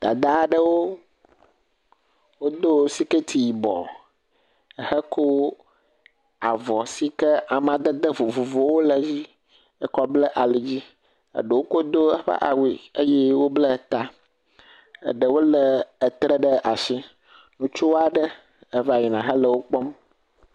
Dada aɖewo wodo sikɛti yibɔ ehe ko avɔ si ke amadede vovovowo le edzi ekɔ ble ali dzi. Eɖewo ko do eƒe awue eye woble ta. Eɖewo le etre ɖe asi. Ŋutsu aɖe eva yina hele wo kpɔm.